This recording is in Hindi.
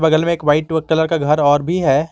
बगल में एक व्हाइट कलर का घर और भी है।